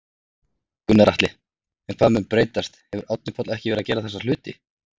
Gunnar Atli: En hvað mun breytast, hefur Árni Páll ekki verið að gera þessa hluti?